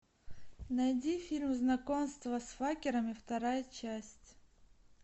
найди фильм знакомство с факерами вторая часть